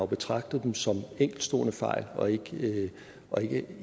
betragtet dem som enkeltstående fejl og ikke og ikke